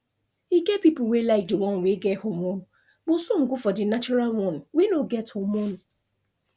e get people wey like the one wey get hormone but some go for the natural one wey no get hormone